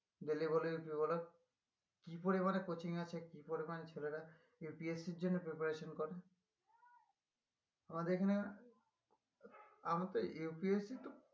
দিল্লি বলো ইউপি বলো কি পরিমানে coaching আছে কি পরিমান ছেলেরা UPSC এর জন্য preparation করে আমাদের এখানে UPSC তো